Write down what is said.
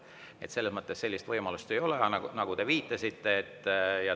Nii et selles mõttes sellist võimalust, nagu te viitasite, ei ole.